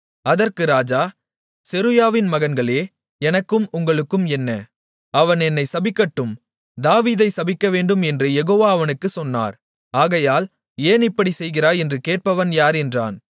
அதற்கு ராஜா செருயாவின் மகன்களே எனக்கும் உங்களுக்கும் என்ன அவன் என்னை சபிக்கட்டும் தாவீதை சபிக்கவேண்டும் என்று யெகோவா அவனுக்குச் சொன்னார் ஆகையால் ஏன் இப்படிச் செய்கிறாய் என்று கேட்பவன் யார் என்றான்